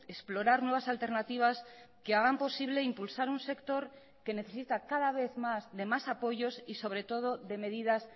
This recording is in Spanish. explorar nuevas alternativas que hagan posible impulsar un sector que necesita cada vez más de más apoyos y sobre todo de medidas